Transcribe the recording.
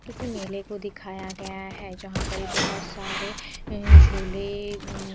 किसी मेले को दिखाया गया है जहाँपर बोहोत सारे जुले अ --